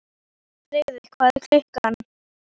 Feykir, hvað er klukkan?